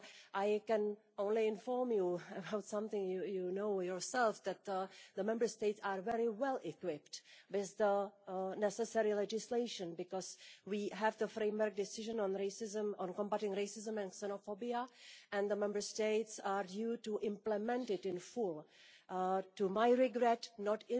I can only inform you about something you know yourself, that the Member States are very well equipped with the necessary legislation because we have the framework decision on combating racism and xenophobia and the Member States are obliged to implement it in full to to my regret, not